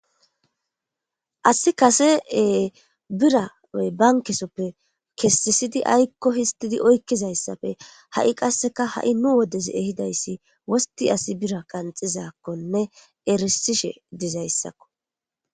Asi kasee biranoy bankesoppe kessisidi aykko histidi oykkizayssafe ha'i qasseka ha'i nu wodes ehidayssi wosti asi bira qanxizakkonne erisishe dizayssakko